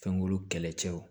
Fɛnkuru kɛlɛcɛw